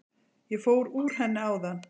Ég fór úr henni áðan.